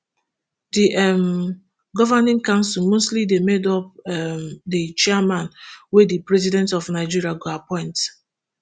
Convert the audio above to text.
di um governing council mostly dey made up um di chairman wey di president of nigeria go appoint